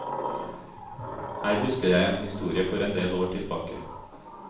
Her husker jeg en historie for en del år tilbake.